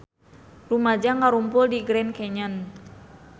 Rumaja ngarumpul di Grand Canyon